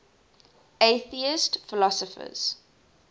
atheist philosophers